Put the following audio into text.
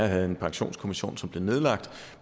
havde en pensionskommission som desværre blev nedlagt